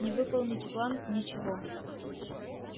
не выполните план ничего